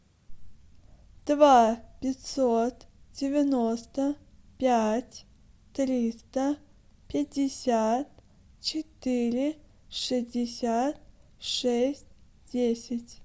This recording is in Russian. два пятьсот девяносто пять триста пятьдесят четыре шестьдесят шесть десять